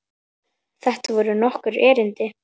Þetta voru nokkur erindi.